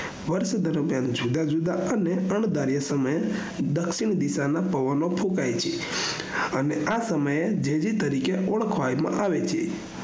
વર્ષ દરમિયાન જુદા જુદા અને અણ ઘરીયા સમયે દ્ક્ષિણ દિશાના પવનો ફુકાય છે અને આ સમય જેડી તરીકે ઓળખવામાં આવે છે